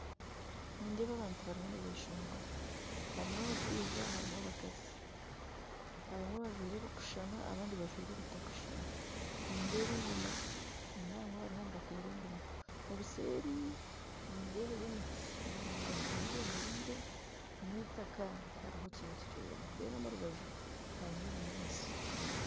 Nindeeba abantu bariho nibeshongora harumu abashaija harumu abakazi abamwe bajwaire ebikushushana abandi bajwaire ebitakushushana nindeeba engoma hiine abaruho nibatera engoma obuseeri nindebayo emiti miringwa ahubemereire n'itaka tiharuho kintu kyona omurubaju harumu ebinyantsi.